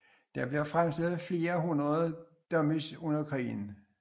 Der blev fremstillet flere hundrede Dominies under krigen